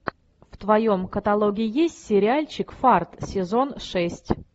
в твоем каталоге есть сериальчик фарт сезон шесть